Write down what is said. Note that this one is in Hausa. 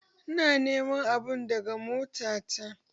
Ina niman abun daga mota ta